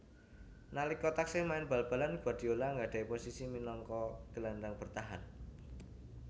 Nalika taksih main bal balan Guardiola nggadhahi posisi minangka gelandhang bertahan